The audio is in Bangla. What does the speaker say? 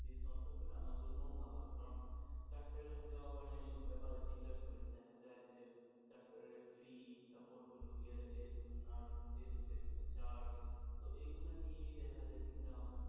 discount টা পেলে আমার জন্য ভালো কারণ ডাক্তারের কাছে যাওয়া হয় না এই সব ব্যাপারের চিন্তা করে দেখা যায় যে ডাক্তারের fees তারপরে হইল গিয়ে অনার যে charge তো এইগুলা নিয়ে দেখা যায় চিন্তা ভাবনা করা,